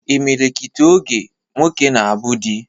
Imilikiti oge, nwoke na-abụ di